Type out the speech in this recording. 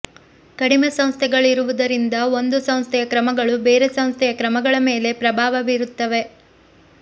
ಕಡಿಮೆ ಸಂಸ್ಥೆಗಳಿರುವಿದರಿಂದ ಒಂದು ಸಂಸ್ಥೆಯ ಕ್ರಮಗಳು ಬೇರೆ ಸಂಸ್ಥೆಯ ಕ್ರಮಗಳ ಮೇಲೆ ಪ್ರಭಾವ ಬೀರುತ್ತದೆ